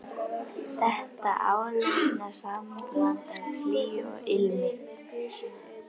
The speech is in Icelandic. Þetta áleitna sambland af hlýju og ilmi.